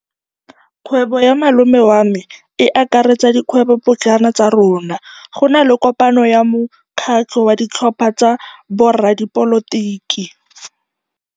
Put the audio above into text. Kgwêbô ya malome wa me e akaretsa dikgwêbôpotlana tsa rona. Go na le kopanô ya mokgatlhô wa ditlhopha tsa boradipolotiki.